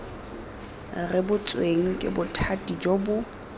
rebotsweng ke bothati jo bo